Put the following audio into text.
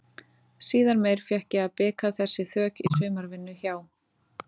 Síðar meir fékk ég að bika þessi þök í sumarvinnu hjá